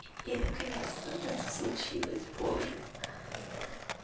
и наконец-то это случилось боже